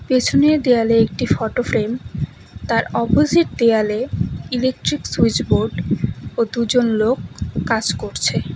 পেছনের দেওয়ালে একটি ফটো ফ্রেম তার অপোজিট দেওয়ালে ইলেকট্রিক সুইচ বোর্ড ও দুজন লোক কাজ করছে।